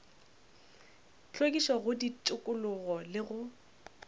hlwekišo go tikologo le go